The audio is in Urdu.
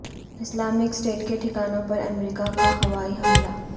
اسلامک اسٹیٹ کے ٹھکانوں پر امریکہ کا ہوائی حملہ